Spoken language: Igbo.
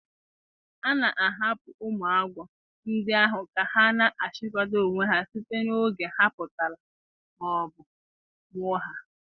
A na-ahapụ ụmụ agwọ ndị ahụ ka ha na-achikọta onwe ha site n’oge ha pụtara ma ọ bụ mụọ ha.